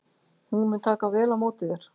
Hún mun taka vel á móti þér.